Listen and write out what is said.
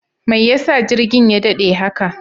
Mai yasa jirgin ya daɗe haka?